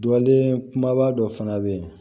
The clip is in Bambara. Dɔlen kumaba dɔ fana bɛ yen